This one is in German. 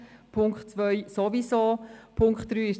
Punkt 2 werden wir sowieso zustimmen.